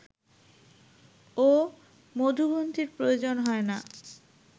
ও মধুগ্রন্থির প্রয়োজন হয় না